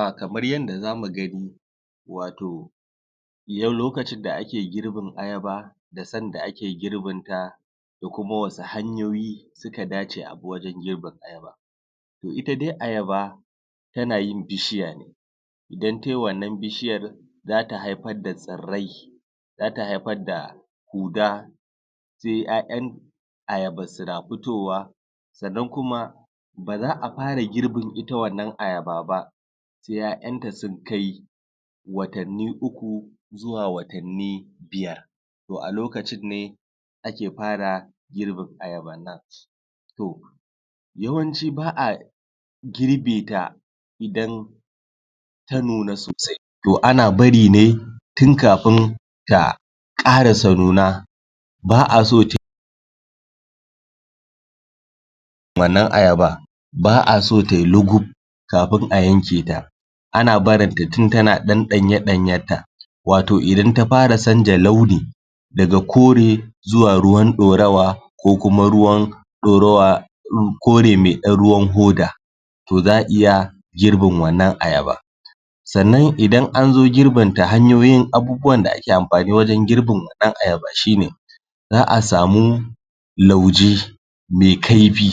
A Kamar yanda zamu gani, wato lokacin da ake girbin ayaba da san da ake girbin ta da kuma wasu hanyoyi suka dace a bi wajan girbin Toh ita dai ayaba tana yin bishiya idan tayi wannan bishiyan za ta haifar da tsirrai, za ta haifar da kuda, sai ‘ya’yan ayaban suna fitowa. sanan kuma, ba za a fara girbin ita wannan ayaba ba sai ‘ya’yan ta sun kai watanni uku zuwa watanni biyar. Toh a lokacin ne ake fara girban ayaban nan yawanci ba a girbe ta idan ta nuna sosai. Toh ana bari ne tun kafin ta karasa nuna, ba a so tayi.. wannan ayaba, ba a so tayi lugub kafin a yanke ta. Ana barin ta tun tana dan danye danyen ta wato idan ta fara canja launi daga kore zuwa ruwan daurawa ko kuma ruwan daurawa, kore mai dan ruwan hoda toh za iya girbin wannan ayaban Sannan idan an zo girbin ta hanyoyin abubuwan da ake amfani wajan girbin ayaba shi ne za asamu lauje lauje mai kaifi,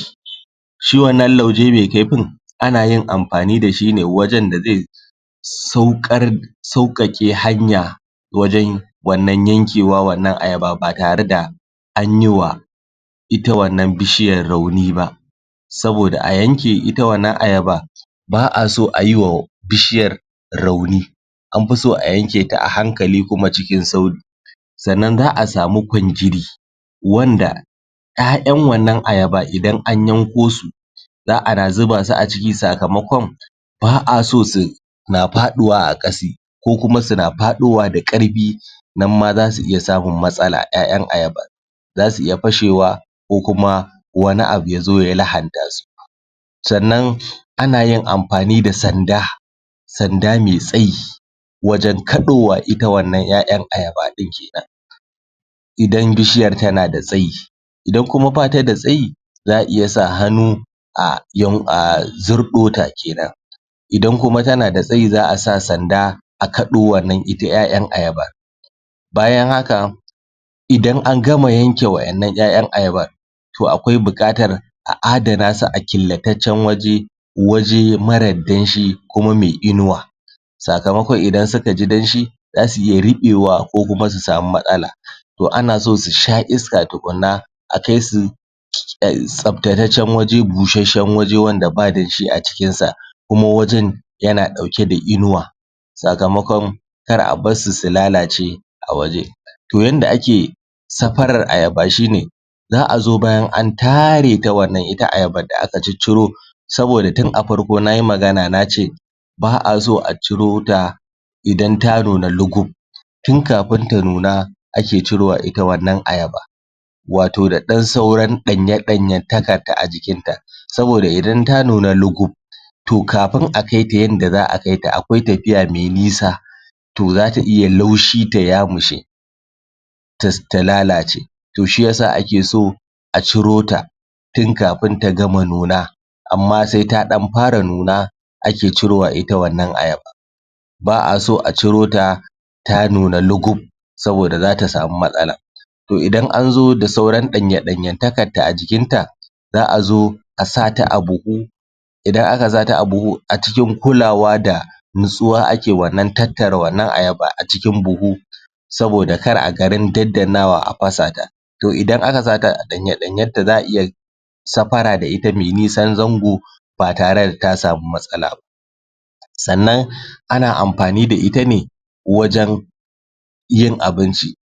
shi wannan lauje mai kaifin ana yin amfani da shi ne wajan da zai saukar- saukake hanya wajan wannan yankewar wannan ayaba ba tare da anyi wa ita wannan bishiyan rauni ba. Saboda a yanke ita wannan ayaba, ba a so a yi wa bishiyar rauni, an fi so a yanke ta a hankali kuma cikin sauki. Sannan za a samu “kwanjiri” wanda ‘ya’yan ita wannan ayaba idan an yanko su za ana zuba su a ciki, sakamakon ba a so suna faduwa a kasa, ko kuma suna fadowa da karfi, nan ma zasu iya samun matsala. ‘ya’yan ayaban zasu iya fashewa ko kuma wani abu ya zo ya lahanta su. Sannan ana yin amfani da sanda, sanda mai tsayi wajan kadowa ita wannan ‘ya’yan ayaba din kenan, idan bishiyar tana da tsayi. Idan kuma ba ta da tsayi za a iya sa hannu a “zurdo” ta kenan, idan kuma tana da tsayi za a sa sanda a kado wannan ita ‘ya’yan ayaba. bayan haka idan an gama yanke wadannan ‘ya’yan ayabar to akwai bukatar a adana su a killataccan waje, waje mara danshi kuma mai inuwa. Sakamakon idan suka ji danshi zasu iya rubewa ko kuma su samu matsala. Toh ana so su sha iska tukunnan a kai su tsabtataccen waje, bushashen waje wanda ba danshi a cikin sa, kuma wajen yana dauke da inuwa. Sakamakon kar a bar su su lalace a waje. Toh yan da ake safarar ayaba shine za a zo bayan an tare ta ita wannan ayaban da aka ciciro saboda tun a farko nayi magana nace ba a so a ciro ta idan ta nuna lugub, tun kafin ta nuna ake cire ita wannan ayaba, wato da dan sauran danye danyentakar ta a jikin ta, saboda idan ta nuna lugub toh kafin a kai ta in da za akai ta akwai tafiya mai nisa, toh za ta iya laushi ta yamushe, ta lalace, toh shiyasa ake so a ciro ta tun kafin ta gama nuna, amma sai ta dan fara nuna ake cirowa ita wannan ayaba. Ba a so a ciro ta ta nuna lugub saboda za ta samu matsala Toh idan an zo da sauran danye danyentakar ta a jikin ta, a zo a sa ta a buhu,, idan aka sa ta a buhu a cikin kulawa da nutsuwa ake wannan tattara wannan ayaba a cikin buhu saboda kar a garin daddanawa a fasa ta Toh idan aka sa ta a danye danyen ta za a iya safara da ita mai nisan zango ba tare da ta samu matsala ba Sannan ana amfani da ita ne wajan yin abinci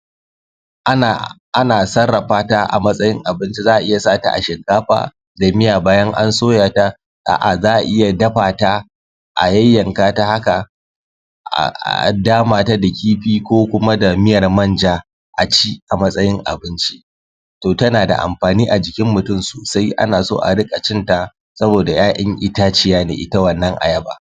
ana sarrafa ta a matsayin abinci, za a iya sa ta a shinkafa dai miya bayan an soya ta, a.a za a iya dafa ta a yanyanka ta haka, a dama ta da kifi ko kuma da miyar man ja a ci a matsayin abinci. Toh tana da amfani a jikin mutum sosai, ana so a rika cin ta saboda ‘ya’yan itaciya ne ita wannan ayaba.